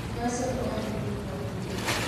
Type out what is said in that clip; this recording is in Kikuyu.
Nyua cũrũ o hĩndĩo hĩndĩ.